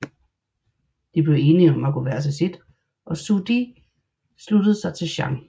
De blev enige om at gå hver til sit og Zhu De sluttede sig til Zhang